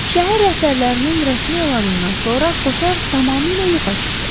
Şəhər rəhbərlərinin rəsmi elanından sonra Kotar tamamilə yoxa çıxdı.